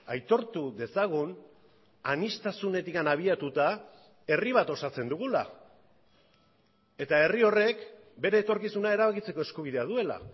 aitortu dezagun aniztasunetik abiatuta herri bat osatzen dugula eta herri horrek bere etorkizuna erabakitzeko eskubidea duela